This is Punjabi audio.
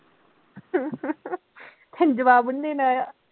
ਤੈਨੂੰ ਜਵਾਬ ਨੀ ਦੇਣਾ ਆਇਆ